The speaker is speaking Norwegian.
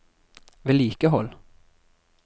vedlikehold